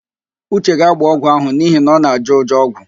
Uche ga-agbọ ọgwụ ahụ n'ihi na ọ na-ajọ ụjọ ọgwụ,